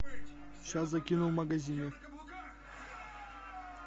сейчас закину в магазине